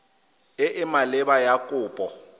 e e maleba ya kopo